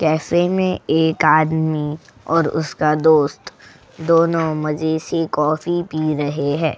Cafe मैं एक आदमी और उसका दोस्त दोनों मजे से कॉफी पी रहे हैं।